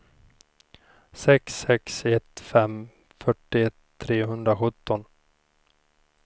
sex sex ett fem fyrtioett trehundrasjutton